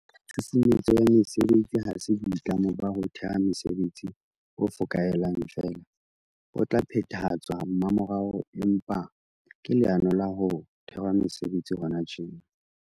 Tshusumetso ya mesebetsi ha se boitlamo ba ho theha mesebetsi bo fokaelang feela bo tla phethahatswa mmamorao, empa ke leano la ho thehwa ha mesebetsi hona tjena.